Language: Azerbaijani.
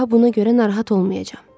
daha buna görə narahat olmayacam.